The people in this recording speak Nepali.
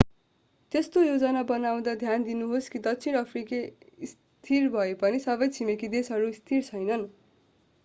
त्यस्तो योजना बनाउँदा ध्यान दिनुहोस् कि दक्षिण अफ्रिका स्थिर भएपनि सबै छिमेकी देशहरू स्थिर छैनन्